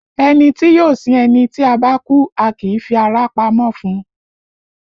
Ẹni tí yóò sin ẹni tí a bá kú, a kì í fi ara pamọ́ fún un